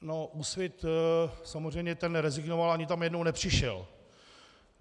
No, Úsvit samozřejmě, ten rezignoval, ani tam jednou nepřišel.